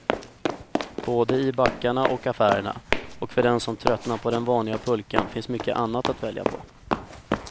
Både i backarna och affärerna, och för den som tröttnat på den vanliga pulkan finns mycket annat att välja på.